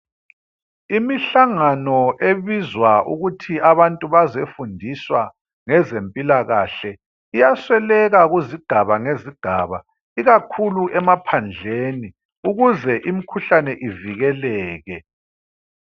Imihlangano ebizwa ukuthi abantu bazefundiswa ngezempilakahle iyasweleka kuzigaba ngezigaba, ikakhulu emaphandleni, ukuze imkhuhlane ivikeleke.